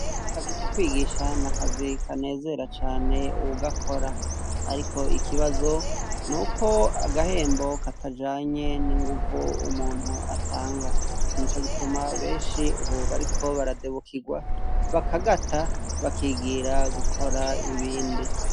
Akazi ko kwigisha nakazi kanezera cane uwugakora , Ariko ikibazo nuko agahembo katajanye ninguvu umuntu atanga Nico gituma benshi bariko baradebukirwa bakagata bakigira gukora ibindi .